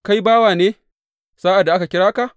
Kai bawa ne sa’ad da aka kira ka?